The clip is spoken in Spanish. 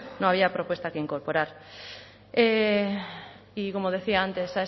no había propuesta que incorporar y como decía antes